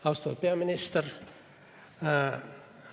Austatud peaminister!